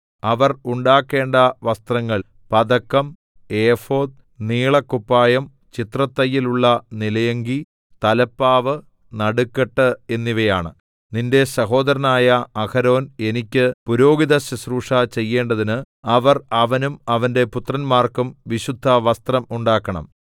അവർ ഉണ്ടാക്കേണ്ട വസ്ത്രങ്ങൾ പതക്കം ഏഫോദ് നീളക്കുപ്പായം ചിത്രത്തയ്യലുള്ള നിലയങ്കി തലപ്പാവ് നടുക്കെട്ട് എന്നിവയാണ് നിന്റെ സഹോദരനായ അഹരോൻ എനിക്ക് പുരോഹിതശുശ്രൂഷ ചെയ്യേണ്ടതിന് അവർ അവനും അവന്റെ പുത്രന്മാർക്കും വിശുദ്ധവസ്ത്രം ഉണ്ടാക്കണം